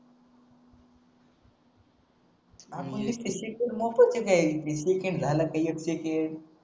एक एक येल